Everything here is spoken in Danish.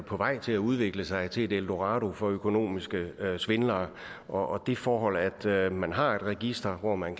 på vej til at udvikle sig til et eldorado for økonomiske svindlere og det forhold at at man har et register hvor man